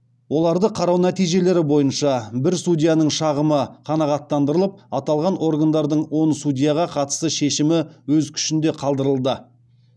оларды қарау нәтижелері бойынша бір судьяның шағымы қанағаттандырылып аталған органдардың он судьяға қатысты шешімі өз күшінде қалдырылды